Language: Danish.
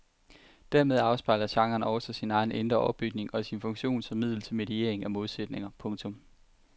Dermed afspejler genren også sin egen indre opbygning og sin funktion som middel til mediering af modsætninger. punktum